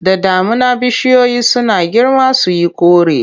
Da damuna bishiyoyi suna girma su yi kore.